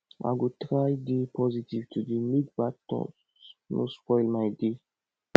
i go try dey positive today make bad thoghts no spoil my day